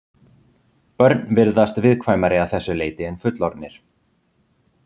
Börn virðast viðkvæmari að þessu leyti en fullorðnir.